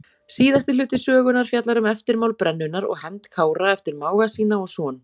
Síðasti hluti sögunnar fjallar um eftirmál brennunnar og hefnd Kára eftir mága sína og son.